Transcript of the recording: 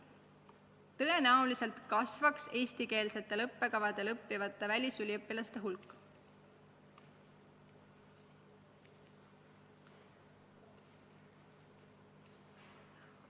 Tõenäoliselt eestikeelsetel õppekavadel õppivate välisüliõpilaste hulk kasvaks.